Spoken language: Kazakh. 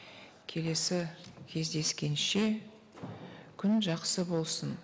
келесі кездескенше күн жақсы болсын